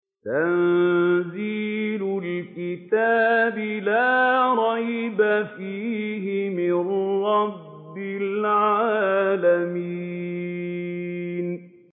تَنزِيلُ الْكِتَابِ لَا رَيْبَ فِيهِ مِن رَّبِّ الْعَالَمِينَ